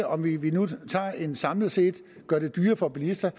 om vi vi nu samlet set gør det dyrere for bilisterne